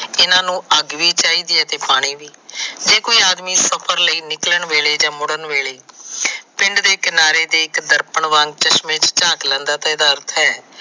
ਇਹਨਾਂ ਨੂੰ ਅੱਗ ਵੀ ਚਾਹੀਦੀ ਹੈ ਤੇ ਪਾਣੀ ਵੀ ਜੇ ਕੋਈ ਆਦਮੀ ਸਫਰ ਤੇ ਨਿਕਲਣ ਵੇਲੇ ਜਾ ਮੁੜਨ ਵੇਲੇ ਪਿੰਡ ਦੇ ਕਿਨਾਰੇ ਤੇ ਚਾਕ ਲੈਂਦਾ ਤਾ ਇਹਦਾ ਅਰਥ ਹੈ ਹਨ ਨੂੰ ਅੱਗ ਵੀ ਚਾਹੀਦੀ ਹੈ ਪਾਣੀ ਵੀ।